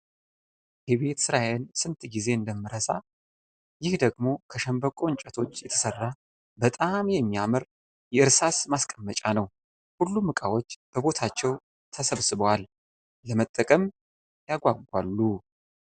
የቤት ስራዬን ስንት ጊዜ እንደምረሳ! ይህ ደግሞ ከሸንበቆ እንጨቶች የተሰራ በጣም የሚያምር የእርሳስ ማስቀመጫ ነው! ሁሉም እቃዎች በቦታቸው ተሰብስበዋል! ለመጠቀም ያጋጋሉ።